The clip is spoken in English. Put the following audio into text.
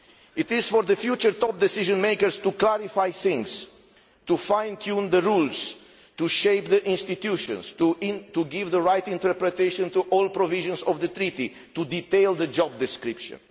It is for the future top decision makers to clarify things, to fine tune the rules, to shape the institutions, to give the right interpretation to all provisions of the treaty and to detail the job description.